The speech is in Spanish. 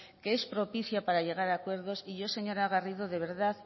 que es propicia para llegar a acuerdos y yo señora garrido de verdad